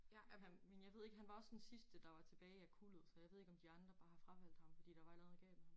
Men han men jeg ved ikke han var også den sidste der var tilbage af kuldet så jeg ved ikke om de andre bare har fravalgt ham fordi der var et eller andet galt med ham